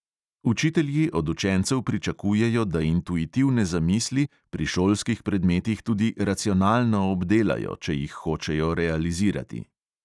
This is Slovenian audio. Učitelji od učencev pričakujejo, da intuitivne zamisli pri šolskih predmetih tudi racionalno obdelajo, če jih hočejo realizirati.